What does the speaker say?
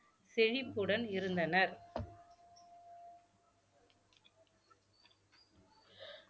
செழிப்புடன் இருந்தனர்